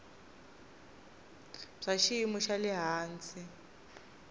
bya xiyimo xa le hansi